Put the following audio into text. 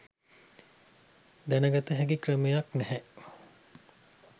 දැනගත හැකි ක්‍රමයක් නැහැ.